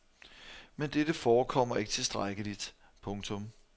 Men dette forekommer ikke tilstrækkeligt. punktum